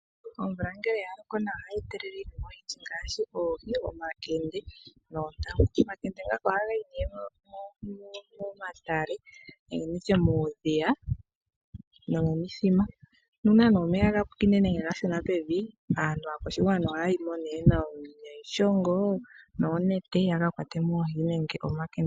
Omvula ngele ya loko nawa ohayi etelele iinima oyindji ngaashi oohi, omakende noontangu. Omakende ngaka ohaga yi nee momatale nenge muudhiya nomomithima. Nuuna nee omeya ga pwine nenge ga shuna pevi, aakwashigwana ohaya yimo nee niishongo noonete ya ka kwate mo omankende.